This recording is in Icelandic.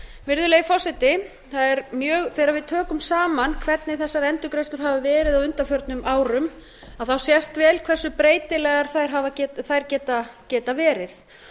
virðulegi forseti þegar við tökum saman hvernig þessar endurgreiðslur hafa verið á undanförnum árum þá sést vel hversu breytilegar þær geta verið